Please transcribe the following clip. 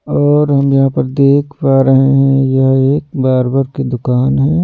और हम यहाँ पर देख पा रहे हैं यह एक बारबर की दुकान है।